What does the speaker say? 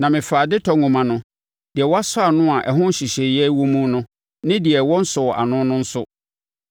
Na mefaa adetɔ nwoma no, deɛ wɔasɔ ano a ɛho nhyehyɛeɛ wɔ mu no, ne deɛ wɔnsɔɔ ano no nso,